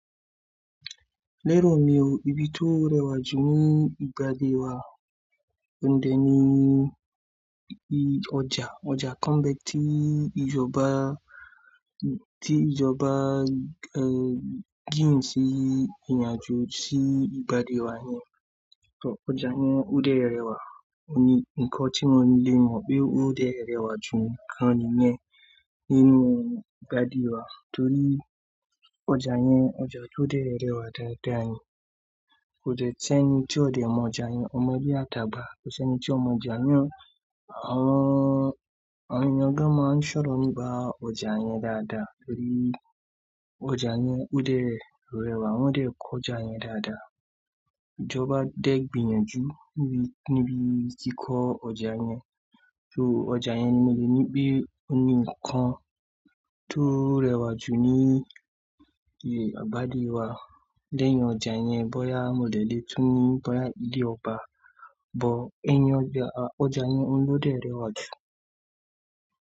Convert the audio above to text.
Lérò mi ò, ibi tó rẹwà jù ní ìgbàdè wá, oun dẹ̀ ni i ọjà, ọjà kan n bẹ́ẹ̀ tí ìjọba, tí ìjọba gihùn sí ìrìnàjò sí ìgbàdè wá yẹn. Ọjà yẹn ó dẹ̀ rẹwà, ó ní nǹkan tí wọ́n lè mọ̀ pé ó dẹ̀ rẹwà jù àwọn nìyẹn nínú ìgbàdè wá torí ọjà yẹn, ọjà tó dẹ̀ rẹwà dáadáa ni. Kó dẹ̀ sẹ́ni tí ó dé mọ ọjà yẹn, ọmọdé àtàgbà, kọ̀ṣẹ̀ni tí ó mọ ọjà yẹn, àwọn, àwọn ènìyàn gan máa ń ṣọ̀rọ̀ nípa ọjà yẹn dáadáa torí ọjà yẹn ó dẹ̀ rẹwà, wọ́n dẹ̀ kọ́ ọjà yẹn dáadáa. Ìjọba dẹ́ gbì yànjú níbi kí kọ́ ọjà yẹn, ju ọjà yẹn mi lè ní pé ó ní nǹkan tó rẹwà jù ní ìgbàdè wá léyìn ọjà yẹn. Bóyá mo dẹ̀ lè tún ní bóyá ilé ọba, but ẹyin ọjà, ọjà yẹn òun ni ó dẹ̀ rẹwà jù.